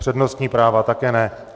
Přednostní práva také ne.